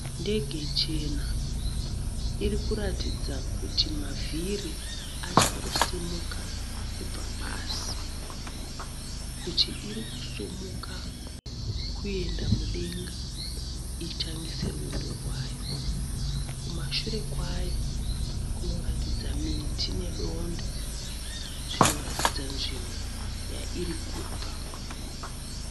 Ndege chena iri kuratidza kuti mavhiri achangosimuka kubva pasi, kuti iri kusumuka kuenda mudenga itangise rwendo rwayo. Kumashure kwayo kunoratidza miti nedondo zvinoratidza nzvimbo yairi kubva.